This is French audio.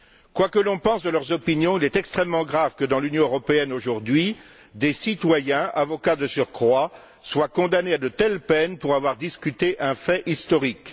Quoi que l'on pense de leurs opinions, il est extrêmement grave que, dans l'Union européenne, aujourd'hui, des citoyens, avocats de surcroît, soient condamnés à de telles peines pour avoir discuté un fait historique.